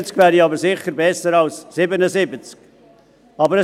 70 Prozent wären aber sicher besser als 77 Prozent.